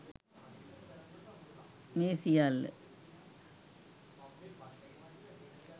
මේ සියල්ල